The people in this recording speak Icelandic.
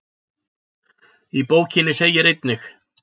Í bókinni segir einnig: